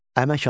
Əmək alətləri.